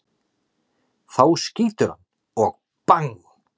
Þá skýturðu hann og BANG!